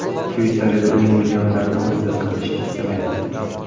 Shveysariya uning millionlarini o‘zida saqlashni istamayapti.